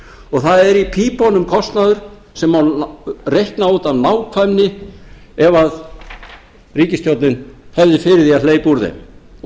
og það er í pípunum kostnaður sem má reikna út af nákvæmni ef ríkisstjórnin hefði fyrir því að hleypa úr þeim og